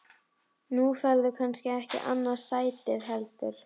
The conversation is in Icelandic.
Nú færðu kannski ekki annað sætið heldur?